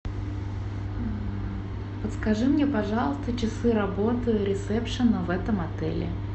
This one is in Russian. подскажи мне пожалуйста часы работы ресепшена в этом отеле